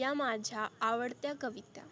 या माझ्या आवडत्या कविता.